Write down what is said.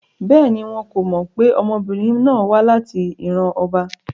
Bẹ́ẹ̀ni, wọn ko mọ pe ọmọbirin náà wa lati iran ọba